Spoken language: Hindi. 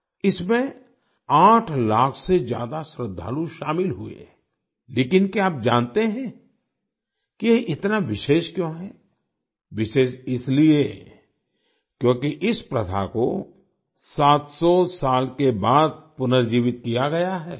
इसमें आठ लाख से ज्यादा श्रद्धालु शामिल हुए लेकिन क्या आप जानते हैं कि यह इतना विशेष क्यों है विशेष इसलिए क्योंकि इस प्रथा को 700 साल के बाद पुनर्जीवित किया गया है